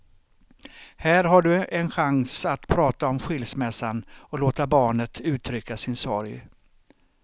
Här har du en chans att prata om skilsmässan och låta barnet uttrycka sin sorg.